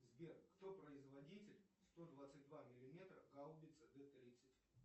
сбер кто производитель сто двадцать два миллиметра гаубица д тридцать